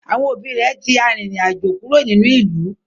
Àwọn òbí rẹ̀ ti arìnrìn-àjò kúrò nínú ìlú